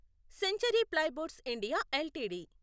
century plyboards India LTD